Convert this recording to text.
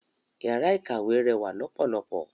Yàrá ìkàwé rẹwà lọ́pọ̀lọpọ̀.